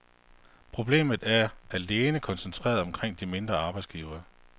Problemet er alene koncentreret omkring de mindre arbejdsgivere.